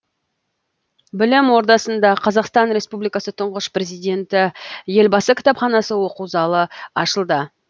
білім ордасында қазақстан республикасы тұңғыш президенті елбасы кітапханасы оқу залы ашылды